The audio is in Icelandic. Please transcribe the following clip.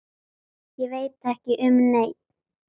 Ég veit ekki um neinn.